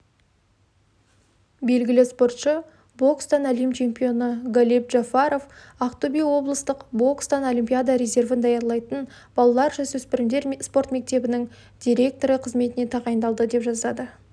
белгілі спортшы бокстан әлем чемпионы галиб джафаров ақтөбе облыстық бокстан олимпиада резервін даярлайтын балалар-жасөспірімдер спорт мектебінің директоры қызметіне тағайындалды деп жазады